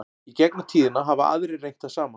í gegnum tíðina hafa aðrir reynt það sama